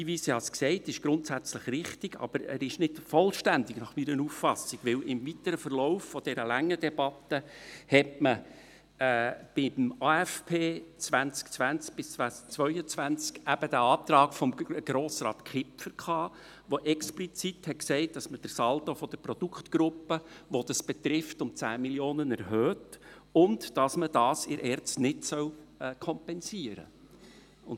Sein Hinweis – ich habe es gesagt – ist grundsätzlich richtig, aber er ist meiner Auffassung nach nicht vollständig, denn im weiteren Verlauf dieser langen Debatte hatte man beim Aufgaben-/Finanzplan (AFP) 2020–2022 eben den Antrag von Grossrat Kipfer, der explizit besagte, dass man den Saldo der betroffenen Produktgruppe um 10 Mio. Franken erhöht und dass man dies in der ERZ nicht kompensieren soll.